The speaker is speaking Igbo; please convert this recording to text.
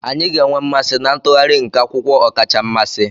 Anyị ga-enwe mmasị na ntụgharị nke akwụkwọ ọkacha mmasị.